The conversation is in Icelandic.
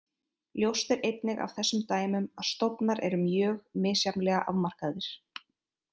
Ljóst er einnig af þessum dæmum að stofnar eru mjög misjafnlega afmarkaðir.